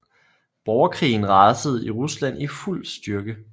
Borgerkrigen rasede i Rusland i fuld styrke